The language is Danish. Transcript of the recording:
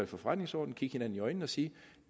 for forretningsordenen kigge hinanden i øjnene og sige